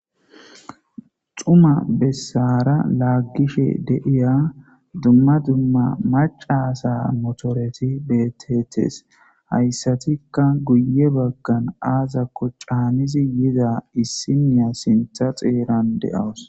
Xuma bessara laaggishe deiya dumma dumma macasa motoreti betetees hayssatikka guye baggan aazakko caanizi yiza issimiya sintha xeeran de7awus.